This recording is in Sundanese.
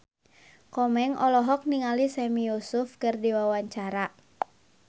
Komeng olohok ningali Sami Yusuf keur diwawancara